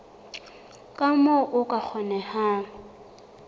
ka moo ho ka kgonehang